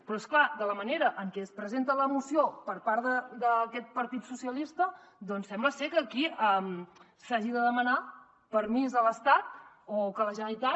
però és clar de la manera en què es presenta la moció per part d’aquest partit socialistes doncs sembla ser que aquí s’hagi de demanar permís a l’estat o que la generalitat